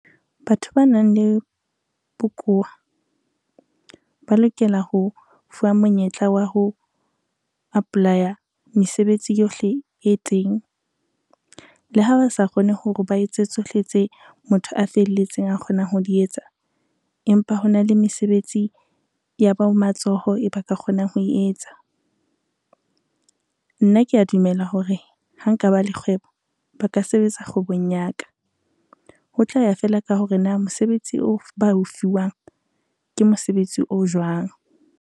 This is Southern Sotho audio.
Batho ba nang le bokowa, ba lokela ho fuwa monyetla wa ho apply-a mesebetsi yohle e teng. Le ha ba sa kgone hore ba etse tsohle tse motho a felletseng a kgonang ho di etsa, empa hona le mesebetsi ya bo matsoho e ba ka kgonang ho e etsa. Nna kea dumela hore ha nka ba le kgwebo ba ka sebetsa kgwebong ya ka, ho tla ya fela ka hore na mosebetsi o ba o fiwang ke mosebetsi o jwang.